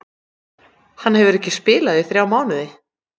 Hann hefur ekki spilað í þrjá mánuði.